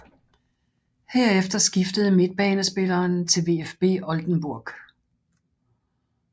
Herefter skiftede midtbanespilleren til VfB Oldenburg